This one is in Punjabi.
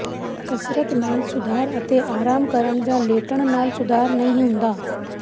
ਕਸਰਤ ਨਾਲ ਸੁਧਾਰ ਅਤੇ ਆਰਾਮ ਕਰਨ ਜਾਂ ਲੇਟਣ ਨਾਲ ਸੁਧਾਰ ਨਹੀਂ ਹੁੰਦਾ